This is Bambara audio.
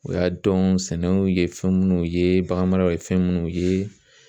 U y'a dɔn sɛnɛw ye fɛn munnu ye, bagan mara ye fɛn minnu ye.